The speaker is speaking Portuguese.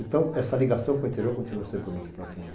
Então essa ligação com o interior continuou sempre muito profunda.